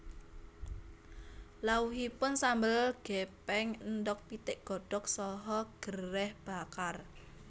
Lawuhipun sambel gepeng endhog pitik godhog saha gereh bakar